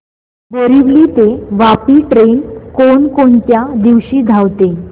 बोरिवली ते वापी ट्रेन कोण कोणत्या दिवशी धावते